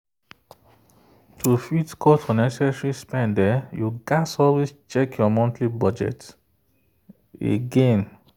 to fit cut unnecessary spend you gats always check your monthly budget again.